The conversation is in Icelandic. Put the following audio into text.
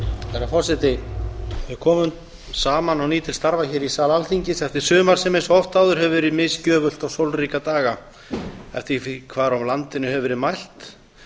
herra forseti við komum saman á ný til starfa hér í sal alþingis eftir sumar sem eins og oft áður hefur verið misgjöfult og sólríka daga eftir því hvar á landinu hefur verið mælt